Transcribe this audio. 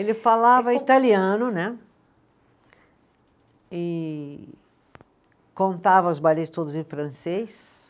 Ele falava italiano né, e contava os bailes todos em francês.